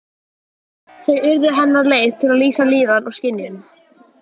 Þau urðu hennar leið til að lýsa líðan og skynjun.